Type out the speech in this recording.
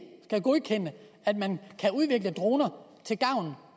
skal godkende at man kan udvikle droner til gavn